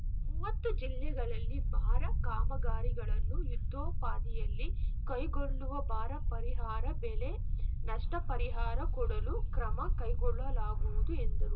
ಮುವತ್ತು ಜಿಲ್ಲೆಗಳಲ್ಲಿ ಬಾರ ಕಾಮಗಾರಿಗಳನ್ನು ಯುದ್ಧೋಪಾದಿಯಲ್ಲಿ ಕೈಗೊಳ್ಳುವ ಬಾರಾ ಪರಿಹಾರ ಬೆಳೆ ನಷ್ಟಪರಿಹಾರ ಕೊಡಲು ಕ್ರಮ ಕೈಗೊಳ್ಳಲಾಗುವುದು ಎಂದರು